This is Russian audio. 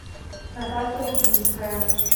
наталья лубинская